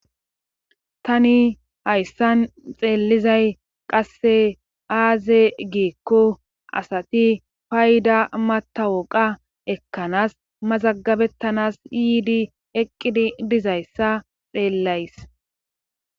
Tani hayssan xeelizay qasse aaze giekko asati payda matawoqa ekkanas mazagabettanas yiidi eqqidi dizayssa xeellays.